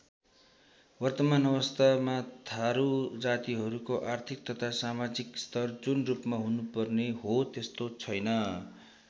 वर्तमान अवस्थामा थारू जातिहरूको आर्थिक तथा समाजिक स्तर जुन रूपमा हुनुपर्ने हो त्यस्तो छैन।